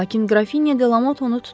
Lakin Qrafinya Delamot onu tutdu.